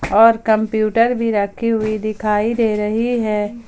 और कंप्यूटर भी रखी हुई दिखाई दे रही है।